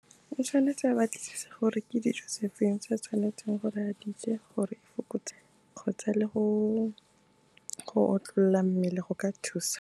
O tshwanetse a batlisise gore ke dijo tse feng tse a tshwanetseng gore a dije gore a fokotsa kgotsa le go otlolola mmele, go ka thusa.